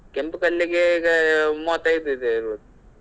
ಕೆಂಪು ಕಲ್ಲಿಗೆ ಈಗ ಮೂವತ್ತೈದು ಇದೆ ಇರಬೇಕು.